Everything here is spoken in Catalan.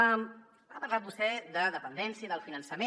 ha parlat vostè de dependència i del finançament